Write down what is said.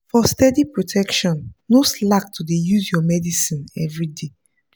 for steady protection no slack to dey use your medicine everyday.